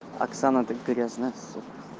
оксана ты грязная сука